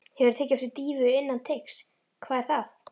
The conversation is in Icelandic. Hefurðu tekið dýfu innan teigs: Hvað er það?